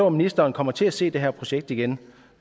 at ministeren kommer til at se det her projekt igennem